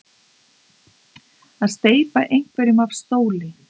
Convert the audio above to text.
Að steypa einhverjum af stóli